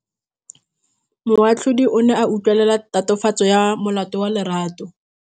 Moatlhodi o ne a utlwelela tatofatsô ya molato wa Lerato.